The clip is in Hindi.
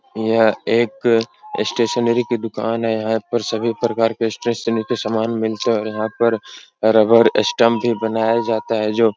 यह एक स्टेशनरी की दुकान है। यहाँ पर सभी प्रकार के स्टेशनरी के समान मिलते हैं और यहाँ पर रबर स्टंप भी बनाया जाता है जो --